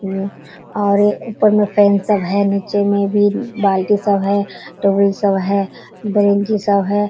म्मम और ऊपर में फैन सब है नीचे में भी बाल्टी सब है टॉवल सब है गंजी सब है।